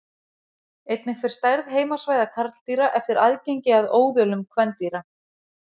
einnig fer stærð heimasvæða karldýra eftir aðgengi að óðölum kvendýra